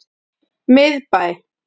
Miðbæ